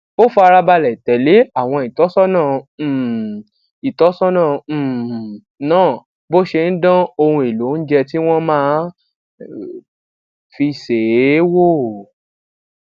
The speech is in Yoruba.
ó farabalè tèlé àwọn ìtósónà um ìtósónà um náà bó ṣe ń dán ohun èlò oúnjẹ tí wón máa fi sè é wò